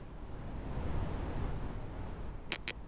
pfukiwa ha pfanelo dza vhuthu